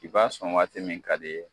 I b'a sɔn waati min ka d'i ye.